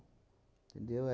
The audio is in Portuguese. Entendeu?